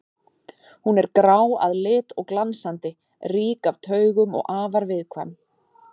Hún er grá að lit og glansandi, rík af taugum og afar viðkvæm.